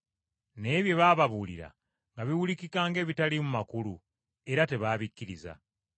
Naye bye baababuulira nga biwulikika ng’ebitaliimu makulu, era tebaabikkiriza.